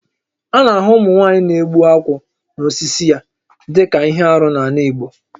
A na-ahụ ụmụnwaanyị na-egbu akwụ n'osisi ya dịka ihe arụ n'ala Igbo